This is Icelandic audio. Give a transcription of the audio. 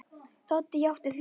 Doddi játti því.